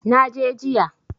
Na je jiya.